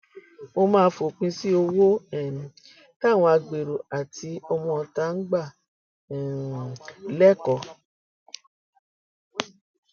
mo máa fòpin sí owó um táwọn agbérò àti ọmọọta ń gbà um lẹkọọ